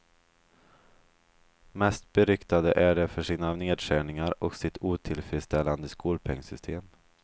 Mest beryktade är de för sina nedskärningar och sitt otillfredsställande skolpengsystem.